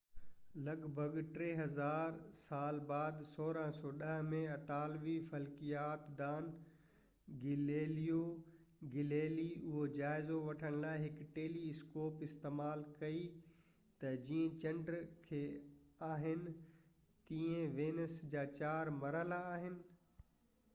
لڳ ڀڳ ٽي هزار سال بعد 1610 ۾ اطالوي فلڪيات دان گيليليو گيليلي اهو جائزو وٺڻ لاءِ هڪ ٽيلي اسڪوپ استعمال ڪئي ته جيئن چنڊ کي آهن تيئن وينس جا چار مرحلا آهن